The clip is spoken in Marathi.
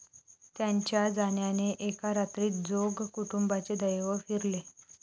त्यांच्या जाण्याने एका रात्रीत जोग कुटुंबाचे दैव फिरले.